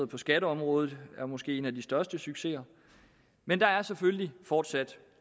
på skatteområdet er måske en af de største succeser men der er selvfølgelig fortsat